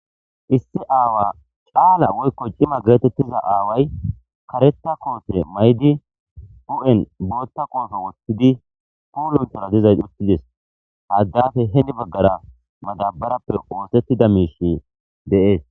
issi aawa caala woykko cima geetettiza aaway kareta koote maydi hu7en bootta qoofe wothtidi puulunthara dizays uttides ha addafe heni baggara madabarappe oosettida miishi de'es